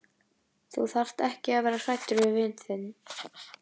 Þú þarft ekki að vera hræddur við vin þinn.